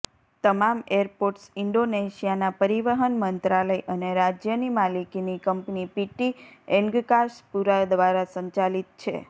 તમામ એરપોર્ટ્સ ઇન્ડોનેશિયાના પરિવહન મંત્રાલય અને રાજ્યની માલિકીની કંપની પીટી એન્ગ્કાસ પુરા દ્વારા સંચાલિત છે